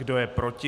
Kdo je proti?